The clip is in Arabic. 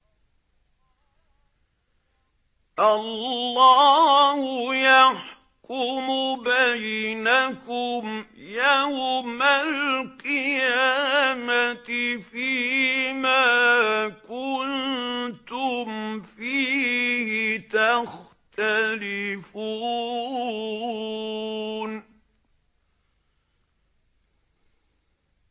اللَّهُ يَحْكُمُ بَيْنَكُمْ يَوْمَ الْقِيَامَةِ فِيمَا كُنتُمْ فِيهِ تَخْتَلِفُونَ